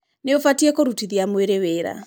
Nĩ ũbatiĩ kũrutithia mwĩrĩ wĩra.